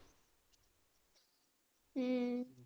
ਹਮ